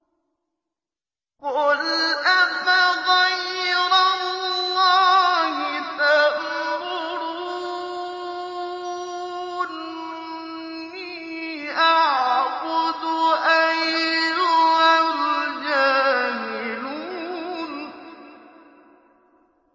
قُلْ أَفَغَيْرَ اللَّهِ تَأْمُرُونِّي أَعْبُدُ أَيُّهَا الْجَاهِلُونَ